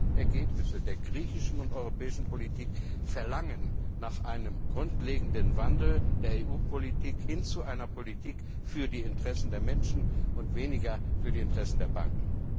Diese Ergebnisse der griechischen und europäischen Politik verlangen nach einem grundlegenden Wandel der EU Politik hin zu einer Politik für die Interessen der Menschen und weniger für die Interessen der Banken.